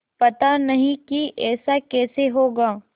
पता नहीं कि ऐसा कैसे होगा